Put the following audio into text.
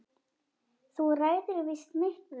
Þú ræður víst miklu.